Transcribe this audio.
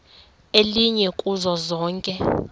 elinye kuzo zonke